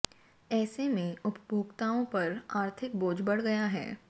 ऐसे में उपभोक्ताओं पर आर्थिक बोझ बढ़ गया है